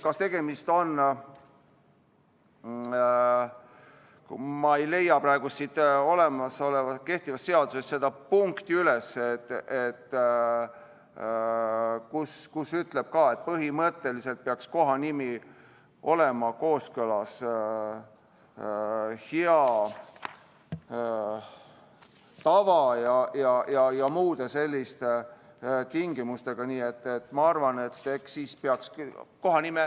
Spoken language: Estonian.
Ma ei leia praegu kehtivast seadusest seda punkti üles, kus öeldakse, et põhimõtteliselt peaks kohanimi olema kooskõlas hea tava ja muude selliste tingimustega.